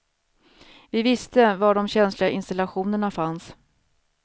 Vi visste var de känsliga installationerna fanns.